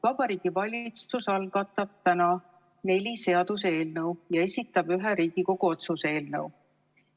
Vabariigi Valitsus algatab täna neli seaduseelnõu ja esitab ühe Riigikogu otsuse eelnõu.